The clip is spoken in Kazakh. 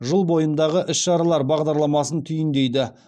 жыл бойындағы іс шаралар бағдарламасын түйіндейді